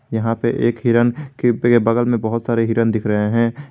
यहां पे एक हिरन खेतों में बगल में बहुत सारे हिरण दिख रहे हैं ।